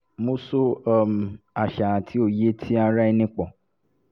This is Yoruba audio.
mo so um àṣà àti òye ti ara ẹni pọ̀